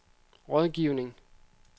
rådgivning